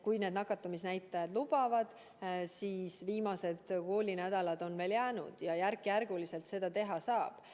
Kui nakatumisnäitajad lubavad, siis viimased koolinädalad on veel jäänud ja järk-järgult seda teha saab.